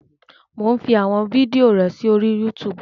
Mò ún fi àwọn fídíò rẹ sórí Yútùùbù